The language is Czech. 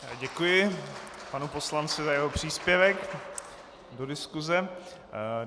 Děkuji panu poslanci za jeho příspěvek do diskuze.